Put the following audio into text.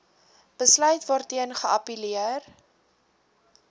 besluit waarteen geappelleer